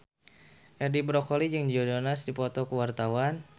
Edi Brokoli jeung Joe Jonas keur dipoto ku wartawan